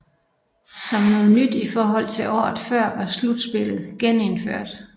Som noget nyt i forhold til året før var slutspillet genindført